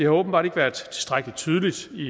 åbenbart ikke været tilstrækkelig tydeligt i